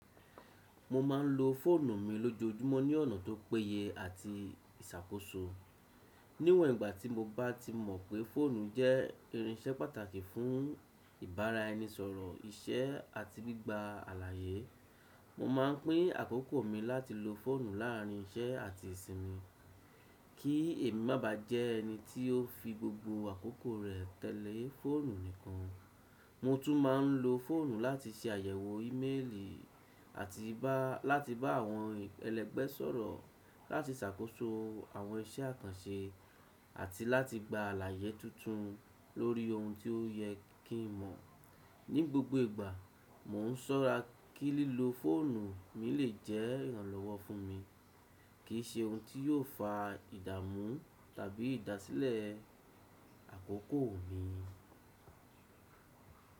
Mo ma ń lo fóònù mi lójoojúmọ́ ní ọ̀nà tó péye àti ìṣàkóso. Níwọ̀n ìgbà tí mo bá ti mọ̀ pé fóònù jẹ́ irinṣẹ́ pàtàkì fún ìbáraẹnisọ̀rọ̀ iṣẹ́ àti gbígba àlàyé. Mo ma ń pín àkókò mi láti lo fóònù láàrín iṣẹ́ àti ìsinmi. Kí èmi má bá jẹ́ ẹni tí ó fi gbogbo àkókò rẹ̀ tẹ̀lé fóònù nìkan. Mo tún ma ń lo fóònù láti ṣe àyẹ̀wò ímẹ́lì àti bá láti bá àwọn ẹlẹgbẹ́ sọ̀rọ̀, láti ṣàkóso àwọn iṣẹ́ àkànṣe àti láti gba àlàyé tuntun lórí ohun tí ó yẹ kí n mọ̀. Ní gbogbo ìgbà mo ń sọ́ra kí lílo fóònù mi lè jẹ́ ìrànlọ́wọ́ fún mi, kìí ṣe ohun tí yóò fa idamu tàbí ìdásílẹ̀ àkókò mi.